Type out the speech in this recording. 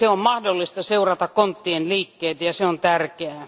On mahdollista seurata konttien liikkeitä ja se on tärkeää.